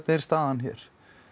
er staðan hér